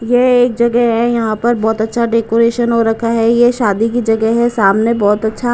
यह एक जगह है यहां पर बहुत अच्छा डेकोरेशन हो रखा है यह शादी की जगह है सामने बहुत अच्छा --